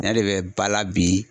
Ne de bɛ bala bi.